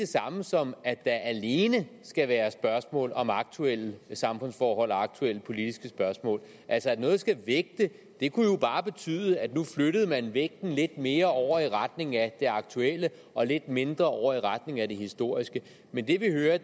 samme som at der alene skal være spørgsmål om aktuelle samfundsforhold og aktuelle politiske spørgsmål altså at noget skal vægte kunne jo bare betyde at nu flyttede man vægten lidt mere over i retning af det aktuelle og lidt mindre over i retning af det historiske men det vi hører